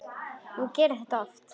Ég geri þetta oft.